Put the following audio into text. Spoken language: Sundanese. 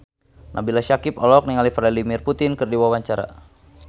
Nabila Syakieb olohok ningali Vladimir Putin keur diwawancara